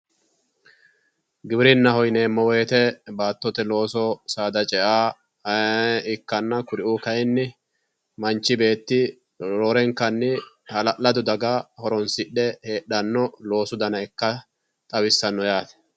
Giwirinnaho yineemmo woyiite baattote looso saada cea ikkanna kuriuu kaayiinni manchi beetti roorenkanni hala'lado daga horonsidhe heedhanno loosu daa ikka xawissanno yaate.